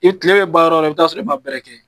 E kile be ban yɔrɔ yɔrɔ, i bi taa sɔrɔ i ma bɛrɛ kɛ.